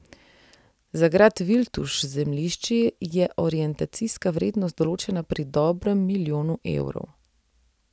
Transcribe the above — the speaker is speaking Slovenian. Za grad Viltuš z zemljišči je orientacijska vrednost določena pri dobrem milijonu evrov.